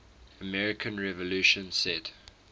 american revolution set